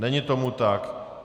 Není tomu tak.